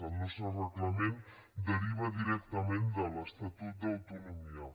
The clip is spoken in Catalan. el nostre reglament deriva directament de l’estatut d’autonomia